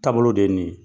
Taabolo de ye nin ye